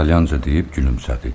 İtalyanca deyib gülümsədi.